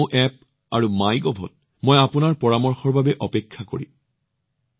নমো app আৰু মাইগভত মই আপোনালোকৰ পৰামৰ্শৰ বাবে অপেক্ষা কৰিম